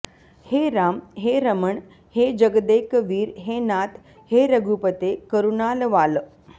हे राम हे रमण हे जगदेकवीर हे नाथ हे रघुपते करुणालवाल